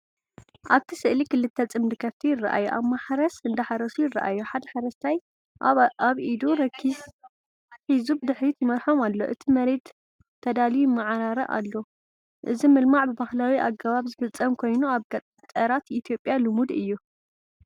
ኣብቲ ስእሊ ክልተ ፅምዲ ከፍቲ ይረኣዩ። ኣብ ማሕረስ እንደሓረሱ ይረኣዩ። ሓደ ሓረስታይ ኣብ ኢዱ ረኪስ ሒዙ ብድሕሪት ይመርሖም ኣሎ። እቲ መሬት ተዳልዩ ይመዓራረ ኣሎ። እዚ ምልማዕ ብባህላዊ ኣገባብ ዝፍጸም ኮይኑ ኣብ ገጠራት ኢትዮጵያ ልሙድ እዩ።